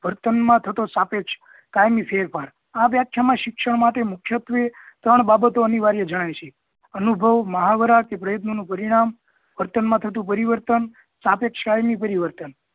વર્તન મા થતો સાપેક્ષ કાયમી ફેરફાર. આ વ્યાખ્યા મા મુખ્યત્વે શિક્ષણ માં ત્રણ બાબતો અનિવાર્ય જણાય છે અનુભવ મહાવરા કે પ્રયત્નો નુ પરિણામ વર્તન મા થતું પરિવર્તન સાપેક્ષ શારીરિક પરિવર્તન